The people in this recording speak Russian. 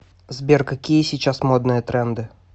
сбер какие сейчас модные тренды